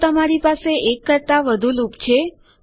જો તમારી પાસે 1 કરતાં વધુ લૂપ છે